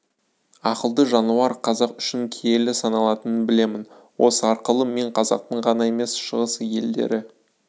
ақылды жануар қазақ үшін киелі саналатынын білемін осы арқылы мен қазақтың ғана емес шығыс елдері